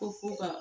Ko fo ka